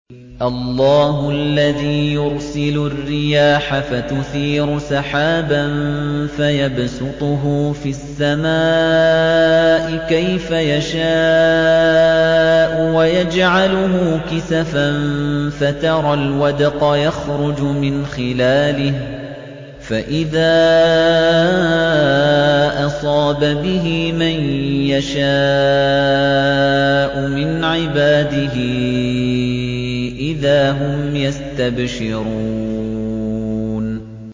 اللَّهُ الَّذِي يُرْسِلُ الرِّيَاحَ فَتُثِيرُ سَحَابًا فَيَبْسُطُهُ فِي السَّمَاءِ كَيْفَ يَشَاءُ وَيَجْعَلُهُ كِسَفًا فَتَرَى الْوَدْقَ يَخْرُجُ مِنْ خِلَالِهِ ۖ فَإِذَا أَصَابَ بِهِ مَن يَشَاءُ مِنْ عِبَادِهِ إِذَا هُمْ يَسْتَبْشِرُونَ